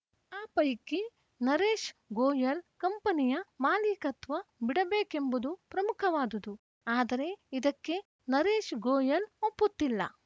ಆ ಪೈಕಿ ನರೇಶ್‌ ಗೋಯಲ್‌ ಕಂಪನಿಯ ಮಾಲೀಕತ್ವ ಬಿಡಬೇಕೆಂಬುದು ಪ್ರಮುಖವಾದದು ಆದರೆ ಇದಕ್ಕೆ ನರೇಶ್‌ ಗೋಯಲ್‌ ಒಪ್ಪುತ್ತಿಲ್ಲ